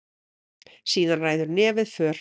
Síðan ræður nefið för.